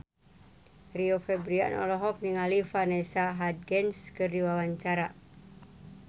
Rio Febrian olohok ningali Vanessa Hudgens keur diwawancara